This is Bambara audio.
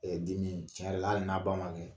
denin tiɲɛ yɛrɛla hali n'a ba mankɛnɛ